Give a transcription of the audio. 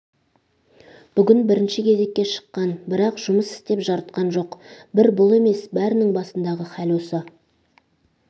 бүгін бірінші кезекке шыққан бірақ жұмыс істеп жарытқан жоқ бір бұл емес бәрінің басындағы хәл осы